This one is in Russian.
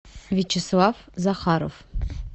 вячеслав захаров